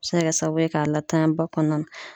A bɛ se ka kɛ sababu ye k'a latanya ba kɔnɔna na.